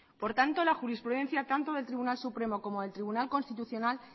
por tanto la jurisprudencia tanto del tribunal supremo como del tribunal constitucional